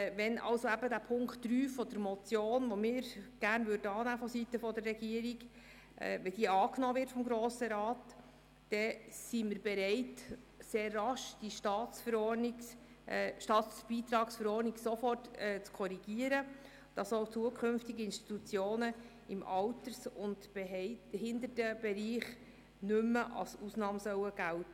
Wenn Punkt 3, den wir vonseiten der Regierung gerne annähmen, auch vom Grossen Rat angenommen würde, wären wir bereit, die Staatsbeitragsverordnung sofort zu korrigieren, sodass Institutionen im Alters- und Behindertenbereich künftig nicht mehr als Ausnahme gälten.